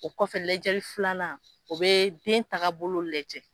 O kɔfɛ lajɛli filanan o bɛ den tagabolo lajɛ.